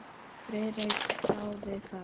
Friðrik þáði það.